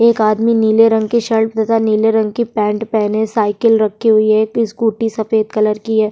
एक आदमी नीले रंग की शल्ट तथा नीले रंग की पैंट पहने साइकिल रखे हुए है एक स्कूटी सफेद कलर की है।